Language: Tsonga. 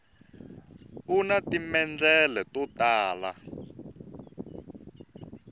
una timendlele to tala